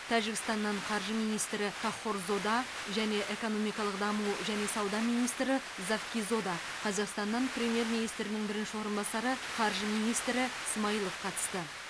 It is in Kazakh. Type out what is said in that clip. тәжікстаннан қаржы министрі каххорзода және экономикалық даму және сауда министрі завкизода қазақстаннан премьер министрдің бірінші орынбасары қаржы министрі смайылов қатысты